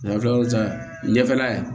An kila l'o cɛ ɲɛfɛla ye